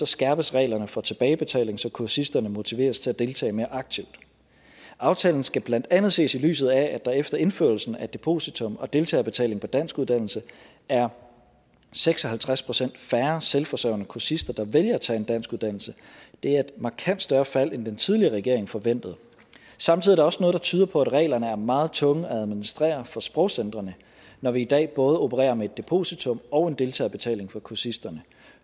skærpes reglerne for tilbagebetaling så kursisterne motiveres til at deltage mere aktivt aftalen skal blandt andet ses i lyset af at der efter indførelsen af depositum og deltagerbetaling på danskuddannelse er seks og halvtreds procent færre selvforsørgende kursister der vælger at tage en danskuddannelse det er et markant større fald end den tidligere regering forventede samtidig er der også noget der tyder på at reglerne er meget tunge at administrere for sprogcentrene når vi i dag både opererer med et depositum og en deltagerbetaling for kursisterne